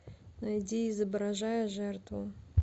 найди изображая жертву